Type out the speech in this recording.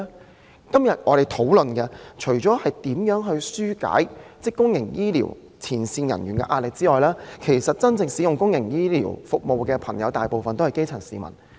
我們今天討論如何紓解公營醫療前線人員的壓力，而使用公營醫療服務的其實大部分是基層市民。